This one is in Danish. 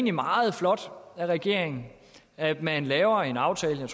er meget flot af regeringen at man laver en aftale